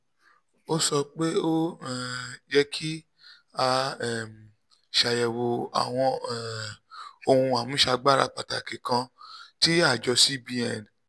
ó sọ pé ó um yẹ kí a um ṣàyẹ̀wò àwọn um ohun àmúṣagbára pàtàkì kan tí àjọ cbn